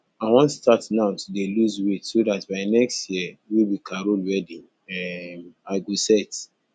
i wan start now to dey lose weight so dat by next year wey be carol wedding um i go set